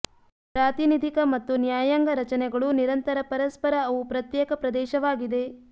ಪ್ರಾತಿನಿಧಿಕ ಮತ್ತು ನ್ಯಾಯಾಂಗ ರಚನೆಗಳು ನಿರಂತರ ಪರಸ್ಪರ ಅವು ಪ್ರತ್ಯೇಕ ಪ್ರದೇಶವಾಗಿದೆ